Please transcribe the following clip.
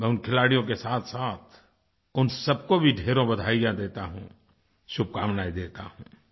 मैं उन खिलाड़ियों के साथसाथ उन सबको भी ढ़ेरों बधाइयाँ देता हूँ शुभकामनाएँ देता हूँ